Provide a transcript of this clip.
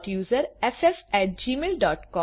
STUSERFFgmailcom